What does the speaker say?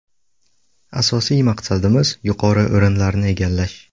Asosiy maqsadimiz yuqori o‘rinlarni egallash.